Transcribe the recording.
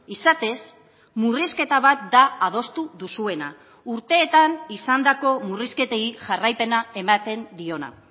izatez murrizketa bat da adostu duzuena urteetan izandako murrizketei jarraipena ematen diona